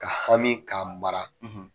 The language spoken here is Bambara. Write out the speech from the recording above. Ka hami k'a mara.